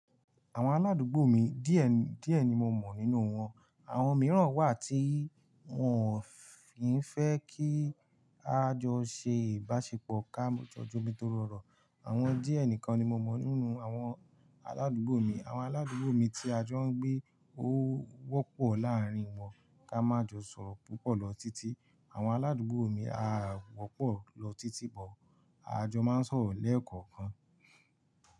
Àwọn aládùúgbò mi díẹ̀, díẹ̀ ni mo mọ̀ nínú wọn. Àwọn mìíràn wà tí wọn ò kìfẹ́ kí a jọ ṣe ìbáṣepọ̀ ká mọ̀ jọjọ mi tó rọrọ. Àwọn díẹ̀ nìkan ni mo mọ̀ nínú àwọn aládùúgbò mi. Àwọn aládùúgbò mi tí a jọ ń gbé ó wọ́pọ̀ láàrín wọn ká má jọ sọ̀rọ̀ púpọ̀ lọ títí. Àwọn aládùúgbò mi a wọ́pọ̀ lọ títí bọ̀, a jọ máa ń sọ̀rọ̀ lẹ́ẹ̀kọ̀kan.